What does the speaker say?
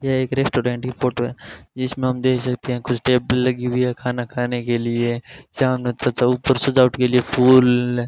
यह एक रेस्टोरेंट की फोटो है जिसमें हम देख सकते हैं कुछ टेबल लगी हुई है खाना खाने के लिए सामने तथा ऊपर सजावट के लिए फूल --